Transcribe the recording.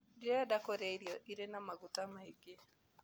Ndirenda kũrĩa irio irĩ na maguta maingĩ.